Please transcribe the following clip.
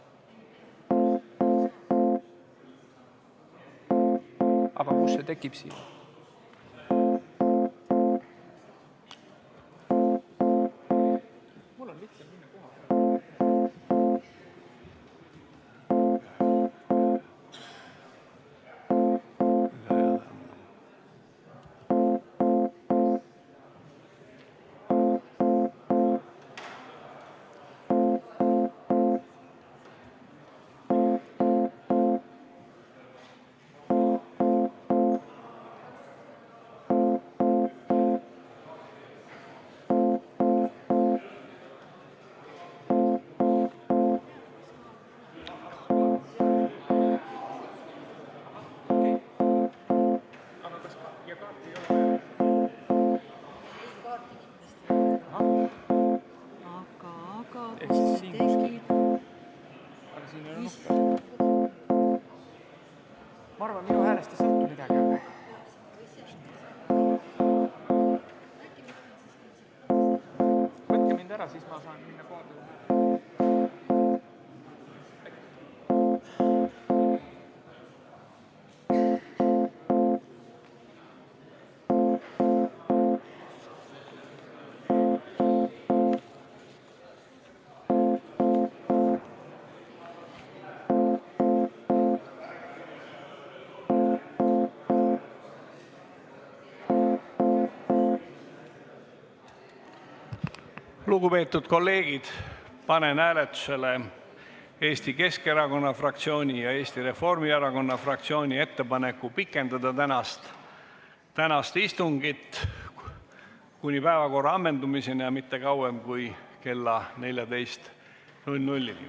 Lugupeetud kolleegid, panen hääletusele Eesti Keskerakonna fraktsiooni ja Eesti Reformierakonna fraktsiooni ettepaneku pikendada tänast istungit kuni päevakorra ammendumiseni, aga mitte kauem kui kella 14-ni.